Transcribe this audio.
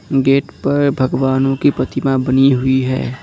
Gate पर भगवानों की प्रतिमा बनी हुई है।